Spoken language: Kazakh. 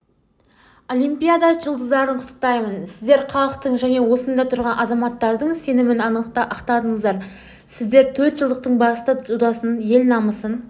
олимпиада жұлдаздарын құттықтаймын сіздер халықтың және осында тұрған азаматтардың сенімін ақтаңыздар сіздер төртжылдықтыңбасты додасында ел намысын